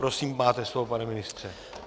Prosím, máte slovo, pane ministře.